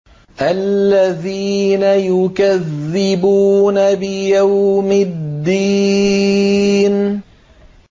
الَّذِينَ يُكَذِّبُونَ بِيَوْمِ الدِّينِ